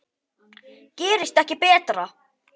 Gerist ekki betra!